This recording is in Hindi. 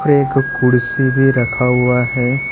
और एक कुर्सी भी रखा हुआ है।